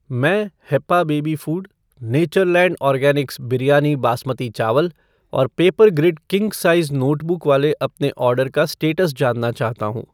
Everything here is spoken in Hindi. मैं Happa baby food , Natureland organics biryani basmati चावल और पेपरग्रिड किंग साइज नोटबुक वाले अपने ऑर्डर का स्टेटस जानना चाहता हूँ।